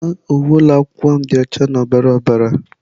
Agba uwe ụlọ akwụkwọ m dị ọcha na ọbara ọbara.